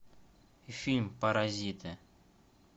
фильм паразиты